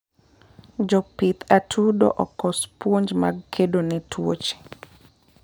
Jopidh atudo okos puonj mag kedone tuoche